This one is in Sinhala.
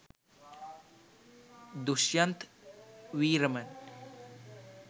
dushyanth weeraman